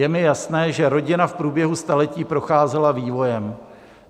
Je mi jasné, že rodina v průběhu staletí procházela vývojem.